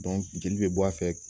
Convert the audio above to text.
jeli bɛ bɔ a fɛ